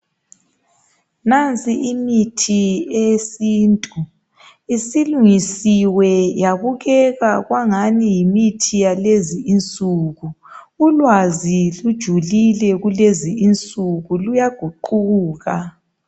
Nansi imithi eyesintu isilungisiwe yabukeka kwangani yimithi yakulezinsuku. Ulwazi lujulile kulezi insuku luyaguquka.